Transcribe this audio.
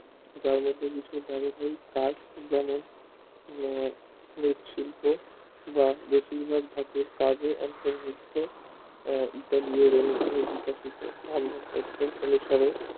যার মধ্যে কাজ যেমন নৃত শিল্প কাজে অন্তর্ভুক্ত অনুসারে